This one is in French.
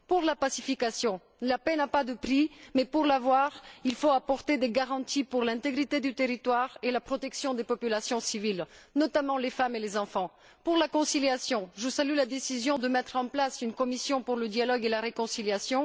Concernant la pacification, la paix n'a pas de prix, mais pour l'avoir, il faut apporter des garanties pour assurer l'intégrité du territoire et la protection des populations civiles, notamment, les femmes et les enfants. S'agissant de la conciliation, je salue la décision de mettre en place une commission pour le dialogue et la réconciliation.